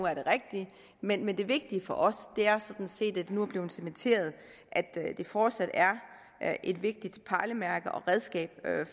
er det rigtige men men det vigtige for os er sådan set at det nu er blevet cementeret at det fortsat er er et vigtigt pejlemærke og redskab